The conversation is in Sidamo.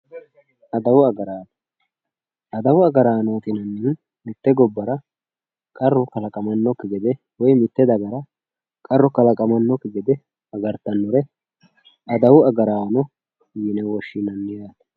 adawu agaraano. adawu agaraanooti yinannihu mitte gobbara qarru kalaqamannokki gede woy mitte dagara qarru kalaqamannokki gede agartannore adawu agaraano yine woshshinanni yaate